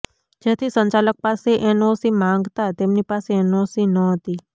જેથી સંચાલક પાસે એનઓસી માંગતા તેમની પાસે એનઓસી ન હતી